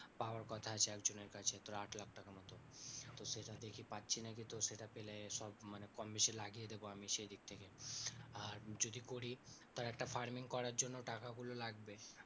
পাওয়ার কথা আছে একজনের কাছে তোর আট লাখ টাকা মতো। তো সেটা দেখি পাচ্ছি নাকি তো সেটা পেলে সব মানে কমবেশি লাগিয়ে দেবো আমি সেই দিক থেকে, আর যদি করি ধর একটা farming করার জন্য টাকা গুলো লাগবে।